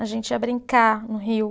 A gente ia brincar no rio.